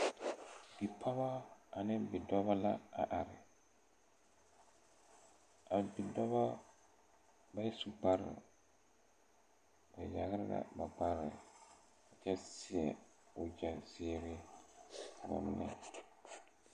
Bipɔgɔ ane bidɔbɔ la a are a bidɔbɔ ba su kparoo ba yagre la ba kpare kyɛ seɛ wogyɛ zeere wa ngmɛ.